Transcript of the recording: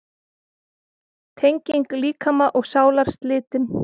Tenging líkama og sálar slitin.